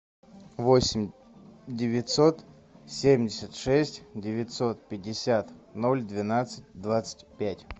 восемь девятьсот семьдесят шесть девятьсот пятьдесят ноль двенадцать двадцать пять